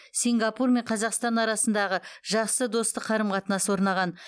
сингапур мен қазақстан арасындағы жақсы достық қарым қатынас орнаған